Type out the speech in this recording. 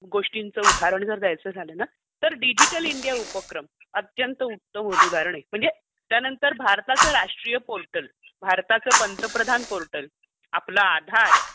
गोष्टींचं उदाहरण जर द्यायचं झालं ना तर डिजिटल इंडिया उपक्रम. अत्यंत उत्तम उदाहरण आहे म्हणजे त्यानंतर भारताचं राष्ट्रीय पोर्टल, भारताचं पंतप्रधान पोर्टल, आपलं आधार,